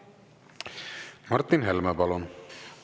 Martin Helme, palun!